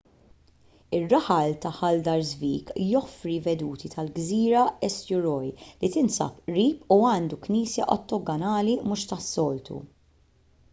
ir-raħal ta' haldarsvik joffri veduti tal-gżira eysturoy li tinsab qrib u għandu knisja ottagonali mhux tas-soltu